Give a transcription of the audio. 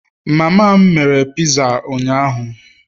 mama m mere piza ụnyaahụ